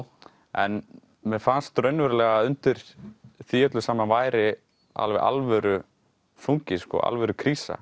en mér fannst raunverulega að undir því öllu saman væri alveg alvöru þungi sko alvöru krísa